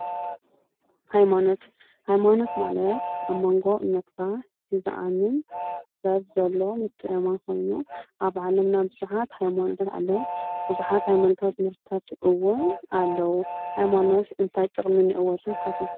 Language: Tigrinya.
ሃይማኖት:- ሃይማኖት ማለት ኣብ ሞንጎ እምነት እና ንዝኣምን ሰብ ዘሎ ምትእምማን ኮይኑ፣ ኣብ ዓለመና ቡዙሓት ሃይማኖታት ኣለዉ። ቡዙሓት ሃይማኖታዊ ትምህርትታት እዉን ኣለዉ። ሃይማኖት እንታይ ጥቅሚ እንኤዎ ኢልኩም ትሓስቡ?